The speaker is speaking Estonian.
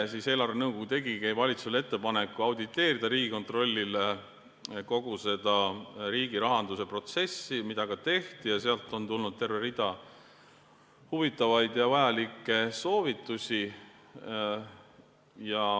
Eelarvenõukogu tegigi valitsusele ettepaneku, et Riigikontroll auditeeriks kogu riigirahanduse protsessi, mida ka tehti, ja sealt on tulnud terve rida huvitavaid ja vajalikke soovitusi.